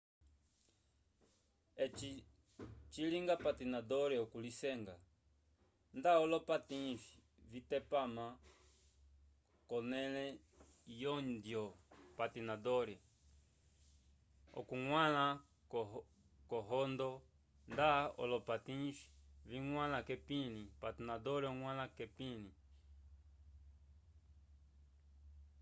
eci cilinga patinador okulisenga nda olopatins vipetama k'onẽle yohondyo patinador oñgwãla k'ohondyo nda olopatins viñgwãla k'epĩli patinador oñgwãla k'epĩli